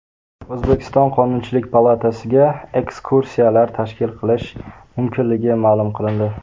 O‘zbekiston Qonunchilik palatasiga ekskursiyalar tashkil qilish mumkinligi ma’lum qilindi.